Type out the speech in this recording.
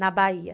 Na Bahia.